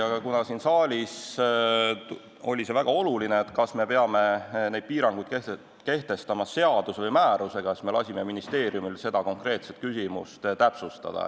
Aga kuna siin saalis oli tõstatunud väga oluline teema – kas me peame need piirangud kehtestama seaduse või määrusega –, siis me lasime ministeeriumil seda konkreetset küsimust täpsustada.